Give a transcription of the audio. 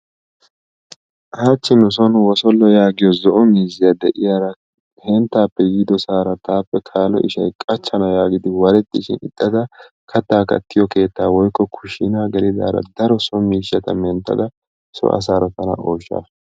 Hachchi nuson wosolo yaagiyo zo'o miiziyaa de'iyara henttappe yiidosara tappe kaalo ishshay qachchana yaagidi warettishin ixxada katta kattiyo keettaa woykko kushina gelidara daro so miishsha menttada tana so asaara tana ooshasu.